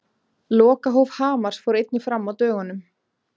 Lokahóf Hamars fór einnig fram á dögunum.